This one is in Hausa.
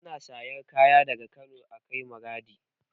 Ana sarar kaya daga Kano a kai Maraɗi